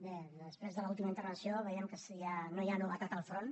bé després de l’última intervenció veiem que no hi ha novetat al front